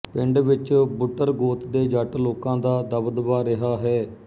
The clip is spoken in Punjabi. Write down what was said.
ਪਿੰਡ ਵਿੱਚ ਬੁੱਟਰ ਗੋਤ ਦੇ ਜੱਟ ਲੋਕਾਂ ਦਾ ਦਬਦਬਾ ਰਿਹਾ ਹੈ